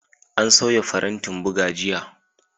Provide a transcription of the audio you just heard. An sauya farantin buga jiya.